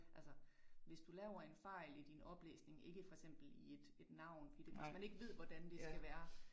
Altså hvis du laver en fejl i din oplæsning ikke for eksempel i et et navn fordi det hvis man ikke ved, hvordan det skal være